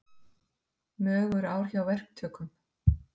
Mögur ár hjá verktökum